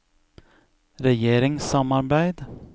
regjeringssamarbeid